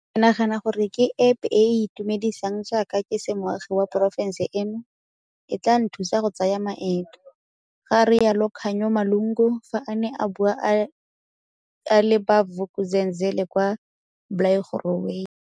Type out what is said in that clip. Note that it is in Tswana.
Ke nagana gore ke App e e itumedisang jaaka ke se moagi wa porofense eno, e tla nthusa go tsaya maeto, ga rialo Khanyo Malunga, fa a ne a bua le ba Vuk'uzenzele kwa Blairgowrie.